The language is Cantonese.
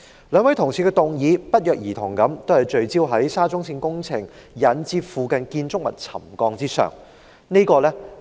兩位同事的議案不約而同聚焦在沙中線工程引致附近建築物沉降的事宜。